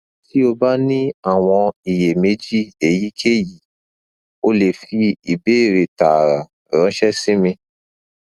ti o ba ni awọn iyemeji eyikeyi o le fi ibeere taara ranṣẹ si mi